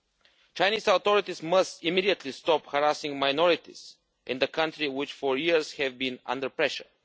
The Chinese authorities must immediately stop harassing minorities in the country, which for years have been under pressure.